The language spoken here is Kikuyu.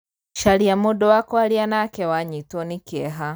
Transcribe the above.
Caria mūndū wa kwaria nake wanyitwo nī kīeha.